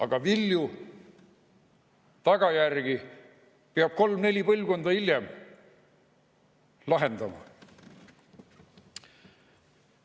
Aga vilju, tagajärgi peab kolm-neli põlvkonda hiljem lahendama.